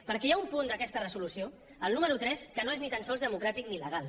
perquè hi ha un punt d’aquesta resolució el número tres que no és ni tan sols democràtic ni legal